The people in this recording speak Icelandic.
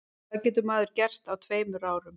Hvað getur maður gert á tveimur árum?